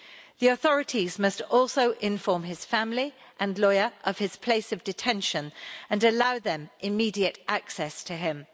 The authorities must also inform his family and lawyer of his place of detention and allow them immediate access to him.